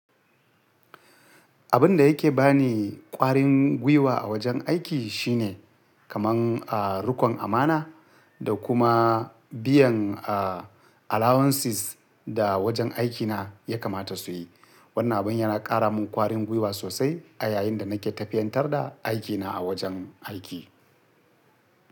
Abin da yake ba ni ƙwarin gwiwa a wajen aiki shine kaman, ah, riƙon amana da kuma biyan, ah, allowances da wajen aikina ya kamata su yi. Wannan abin yana ƙara min ƙwarin gwiwa sosai a yayin da nake tafiyar da aikina a wajen aiki.